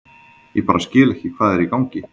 Ég bara skil ekki hvað er í gangi.